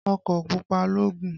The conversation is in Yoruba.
Ọkọ̀ pupa ló gùn.